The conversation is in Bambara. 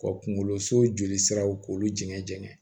Ka kungolo so joli siraw k'olu jɛni jɛngɛn